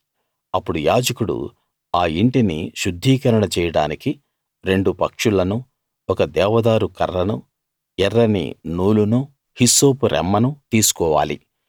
అప్పుడు యాజకుడు ఆ యింటిని శుద్ధీకరణ చేయడానికి రెండు పక్షులనూ ఒక దేవదారు కర్రనూ ఎర్రని నూలునూ హిస్సోపు రెమ్మనూ తీసుకోవాలి